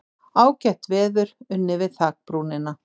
Ágætt veður, unnið við þakbrúnina.